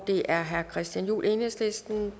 det er herre christian juhl enhedslisten